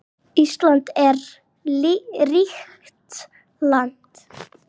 Ísland er ríkt land.